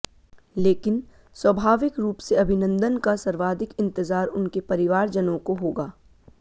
लेकिन स्वाभाविक रूप से अभिनंदन का सर्वाधिक इंतजार उनके परिवारजनों को होगा